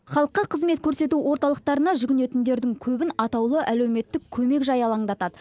халыққа қызмет көрсету орталықтарына жүгінетіндердің көбін атаулы әлеуметтік көмек жайы алаңдатады